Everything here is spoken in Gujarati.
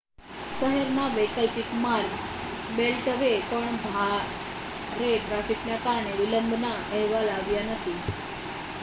શહેરના વૈકલ્પિક માર્ગ બેલ્ટવે પર ભારે ટ્રાફિકના કારણે વિલંબના અહેવાલ આવ્યા નથી